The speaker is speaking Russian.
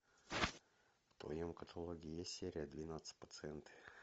в твоем каталоге есть серия двенадцать пациенты